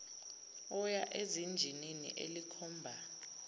oya ezinjinini elikhomba